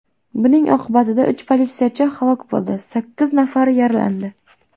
Buning oqibatida uch politsiyachi halok bo‘ldi, sakkiz nafari yaralandi.